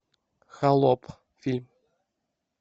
холоп фильм